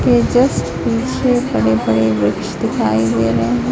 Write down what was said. ये जस्ट पीछे बड़े बड़े वृक्ष दिखाई दे रहें हैं।